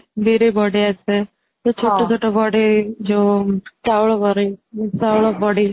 ବିରି ବଡି ଆସେ ଯୋଉ ଛୋଟ ଛୋଟ ବଡି ,ଯୋଉ ଚାଉଳ ବଡି ଯୋଉ ଚାଉଳ ବଡି